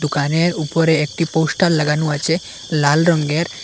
দোকানের উপরে একটি পোস্টার লাগানো আছে লাল রঙ্গের ।